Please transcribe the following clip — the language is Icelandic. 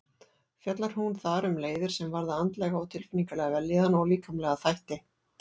Fjallar hún þar um leiðir sem varða andlega og tilfinningalega vellíðan og líkamlega þætti.